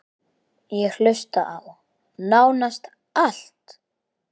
Ég hlusta á: nánast allt